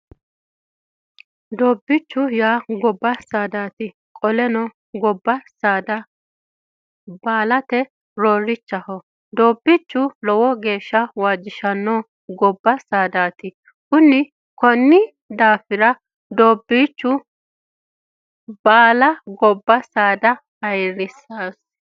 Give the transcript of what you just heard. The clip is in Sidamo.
Doobbichu yaa gobba saadati qoleno gobba saada baalate roorichaho doobbichu lowo geeshsha waajjishano gobba saadati kunni daafira dobbiicho baala gobba saada ayirissanosi